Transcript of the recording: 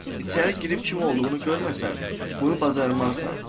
İçəri girib kim olduğunu görməsən, bunu bacarmarsan.